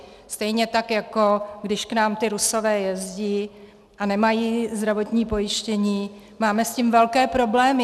Stejně tak jako když k nám ti Rusové jezdí a nemají zdravotní pojištění, máme s tím velké problémy.